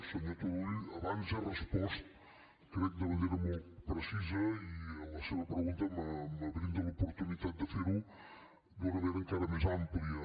senyor turull abans he respost crec de manera molt precisa i la seva pregunta me brinda l’oportunitat de fer ho d’una manera encara més àmplia